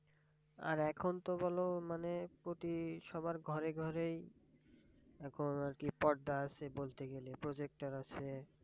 আর এখন তো বলো মানে প্রতি সবার ঘরে ঘরেই এখন আরকি পর্দা আছে বলতে গেলে projector আছে।